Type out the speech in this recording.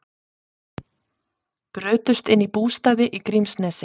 Brutust inn í bústaði í Grímsnesi